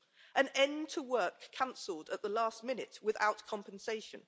An end to work cancelled at the last minute without compensation.